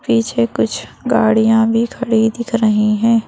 पीछे कुछ गाड़ियाँ भी खड़ी दिख रही हैं।